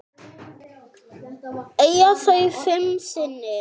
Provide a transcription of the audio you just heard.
Eiga þau fimm syni.